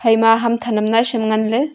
ema hamthan ham naisham nganley.